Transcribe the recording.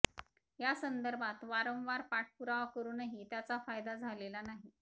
या संदर्भात वारंवार पाठपुरावा करूनही त्याचा फायदा झालेला नाही